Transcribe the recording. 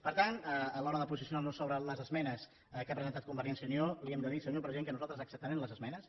per tant a l’hora de posicionar nos sobre les esmenes que ha presentat convergència i unió li hem de dir senyor president que nosaltres acceptarem les esmenes